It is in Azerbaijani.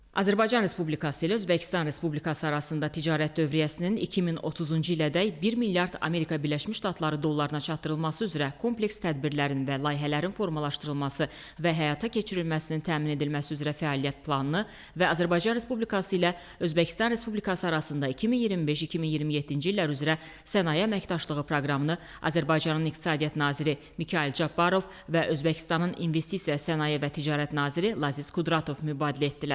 Azərbaycan Respublikası ilə Özbəkistan Respublikası arasında ticarət dövriyyəsinin 2030-cu ilədək 1 milyard Amerika Birləşmiş Ştatları dollarına çatdırılması üzrə kompleks tədbirlərin və layihələrin formalaşdırılması və həyata keçirilməsinin təmin edilməsi üzrə fəaliyyət planını və Azərbaycan Respublikası ilə Özbəkistan Respublikası arasında 2025-2027-ci illər üzrə sənaye əməkdaşlığı proqramını Azərbaycanın İqtisadiyyat naziri Mikayıl Cabbarov və Özbəkistanın İnvestisiya, Sənaye və Ticarət naziri Laziz Qudratov mübadilə etdilər.